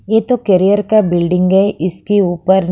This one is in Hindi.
ये तो करियर का बिल्डिंग है इसके ऊपर--